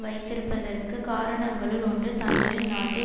வைத்திருப்பதற்குக் காரணங்களுள் ஒன்று தங்களின் நாட்டை